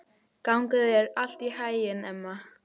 Gangi þér allt í haginn, Emma.